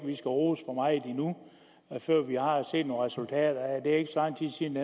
vi skal rose for meget før vi har set nogle resultater af det det er ikke så lang tid siden